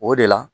O de la